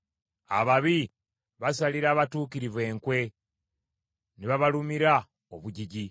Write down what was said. Ababi basalira abatuukirivu enkwe, ne babalumira obujiji.